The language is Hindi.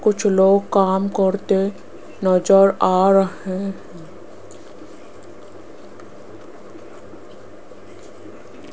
कुछ लोग काम करते नज़र आ रहे --